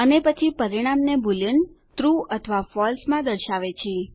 અને પછી પરિણામને બૂલીયન ટ્રૂ અથવા ફળસે માં દર્શાવે છે